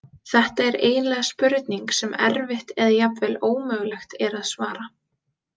Þetta er eiginlega spurning sem erfitt eða jafnvel ómögulegt er að svara.